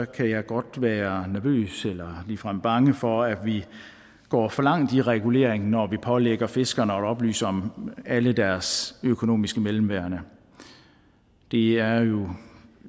kan jeg godt være nervøs eller ligefrem bange for at vi går for langt i reguleringen når vi pålægger fiskerne at oplyse om alle deres økonomiske mellemværender det er jo